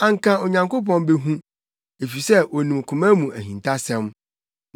anka Onyankopɔn behu, efisɛ onim koma mu ahintasɛm.